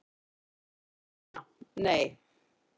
Ónefnd kona: Nei.